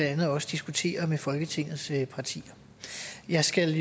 andet også diskuterer med folketingets partier jeg skal